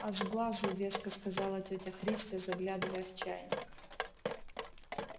от сглазу веско сказала тётя христя заглядывая в чайник